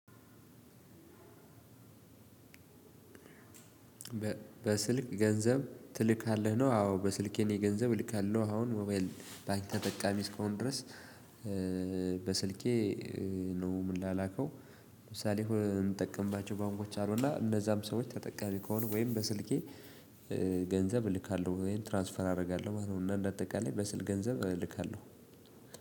በስልክ ገንዘብ ትልካለህ ነው? አዎ በስልኬ እኔ ገንዘብ እልካለሁ አሁን ሞባይል ባንክ ተጠቃሚ እስከሆንኩ ድረስ በስልኬ ነው ምላላከው። ለምሳሌ ሆነ እምጠቀምባቸው ባንኮች አሉና እነዛም ሰዎች ተጠቃሚ ከሆኑ ወይም በስልኬ ገንዘብ እልካለሁ ወይም ትራንስፈር አደርጋለሁ ማለት ነው። እና እንደ አጠቃላይ በስል ገንዘብ እልካለሁ።